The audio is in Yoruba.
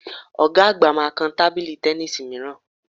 Ọ̀ga àgbà máa kan tábìlì tẹníìsì mìíràn